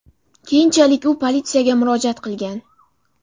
Keyinchalik u politsiyaga murojaat qilgan.